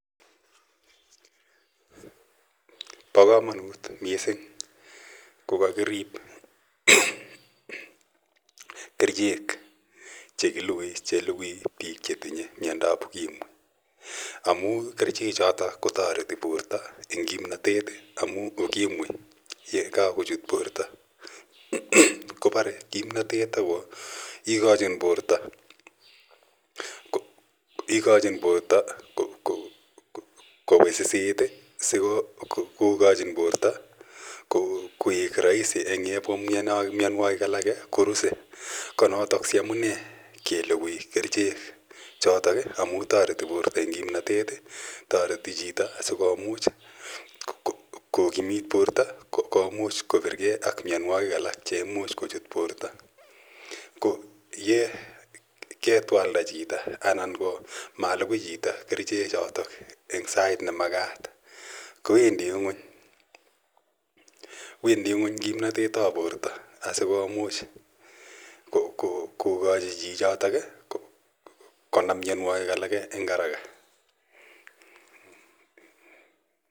Pa kamanut missing ko kakirip kerichek che kilugui, che lugui piik che tinye mindo ap Ukimwi amu kerichechotok ko tareti porto eng' kimnatet amu Ukimwi ye kakochut porto ko pare kimnatet ako kachin porta kowisisit sikokachin porto koek raisi ang' yepwa mianwokik alake korusei. Ko notok si amune kelugui kerichcu amj tareti porto eng' kimnatet, tareti chito asikomuch kokimit porto komuch kopirgei ak mianwogik alak che imuch kochut porto. Ko ye ketwalda chito anan ko ma lugui chito kerichechotok eng' sait ne makat ko wendi ng'uny kimnatet ap porto asikomuch kokachi chichotol konam mianwogik alake eng' araka.